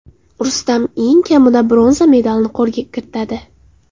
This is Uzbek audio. Rustam eng kamida bronza medalini qo‘lga kiritadi.